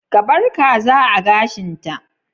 Ka bar kaza a gashin ta?